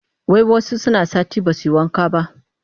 Wai wasu suna sati ba su yi wanka ba